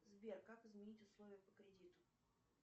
сбер как изменить условия по кредиту